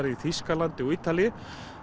í Þýskalandi og Ítalíu